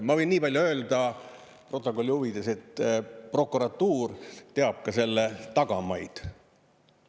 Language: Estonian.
Ma võin nii palju öelda protokolli huvides, et prokuratuur teab ka selle tagamaid.